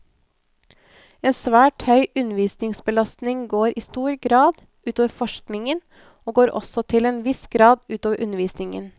En svært høy undervisningsbelastning går i stor grad ut over forskningen, og går også til en viss grad ut over undervisningen.